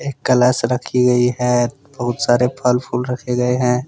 कलश रखी गई है बहुत सारे फल फूल रखे गए हैं।